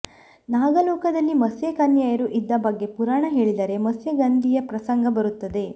ನಾಗಲೋಕದಲ್ಲಿ ಮತ್ಸ್ಯಕನ್ಯೆಯರು ಇದ್ದ ಬಗ್ಗೆ ಪುರಾಣ ಹೇಳಿದರೆ ಮತ್ಸ್ಯಗಂಧಿಯ ಪ್ರಸಂಗ ಬರುತ್ತದೆ